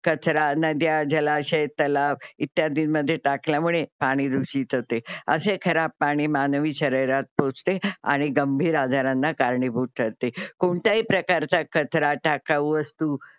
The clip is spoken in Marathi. कचरा, नद्या, जलाशय, तलाव, इत्यादींमध्ये टाकल्यामुळे पाणी दुषित होते. अशे खराब पाणी मानवी शरीरात पोचते आणि गंभीर आजारांना कारणीभूत ठरते. कोणत्याही प्रकारचा कचरा, टाकाऊ वस्तू